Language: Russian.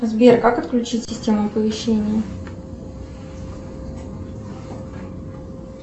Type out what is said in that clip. сбер как отключить систему оповещений